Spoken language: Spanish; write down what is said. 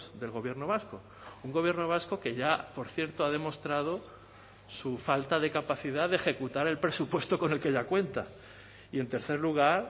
del gobierno vasco un gobierno vasco que ya por cierto ha demostrado su falta de capacidad de ejecutar el presupuesto con el que ya cuenta y en tercer lugar